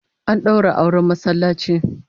An daura auren masallaci